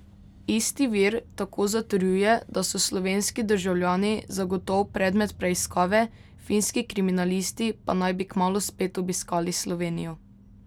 Isti vir tako zatrjuje, da so slovenski državljani zagotov predmet preiskave, finski kriminalisti pa naj bi kmalu spet obiskali Slovenijo.